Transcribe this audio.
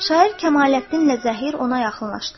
Şair Kəmaləddinlə Zəhir ona yaxınlaşdılar.